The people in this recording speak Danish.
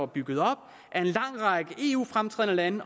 bygget op af en lang række fremtrædende lande